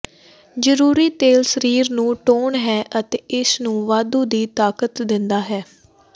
ਜ਼ਰੂਰੀ ਤੇਲ ਸਰੀਰ ਨੂੰ ਟੋਨ ਹੈ ਅਤੇ ਇਸ ਨੂੰ ਵਾਧੂ ਦੀ ਤਾਕਤ ਦਿੰਦਾ ਹੈ